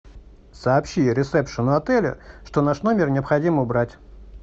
сообщи ресепшену отеля что наш номер необходимо убрать